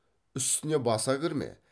үстіне баса кірме